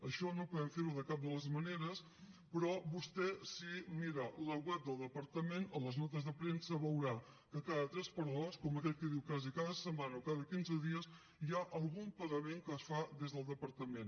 això no podem fer ho de cap de les maneres però vostè si mira el web del departament a les notes de premsa veurà que cada tres per dos com aquell qui diu quasi cada setmana o cada quinze dies hi ha algun pagament que es fa des del departament